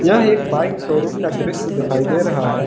यह एक bike showroom का दृश्य दिखाई दे रहा है।